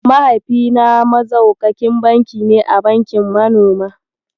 Mahaifina Maxaukakin banki ne a bankin manoma.